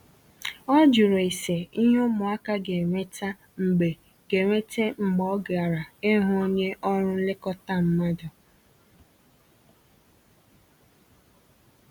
ọ jụrụ ese ìhé ụmụaka ga enweta mgbe ga enweta mgbe ọ gara ịhụ onye ọrụ nlekọta mmadụ